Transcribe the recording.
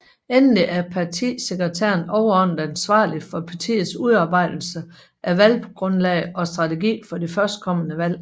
Endelig er partisekretæren overordnet ansvarlig for partiets udarbejdelse af valggrundlag og strategi for det førstkommende valg